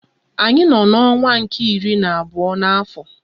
Anyị nọ n'ọnwa nke iri na abụọ n'afọ.